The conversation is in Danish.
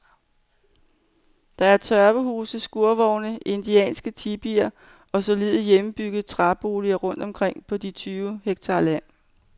Der er tørvehuse, skurvogne, indianske tipier og solide, hjemmebyggede træboliger rundt omkring på de tyve hektar land.